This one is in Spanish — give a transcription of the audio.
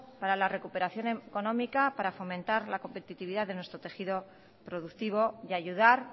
para la recuperación económica para fomentar la competitividad de nuestro tejido productivo y ayudar